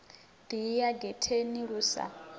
ḓi ya getheni lu sa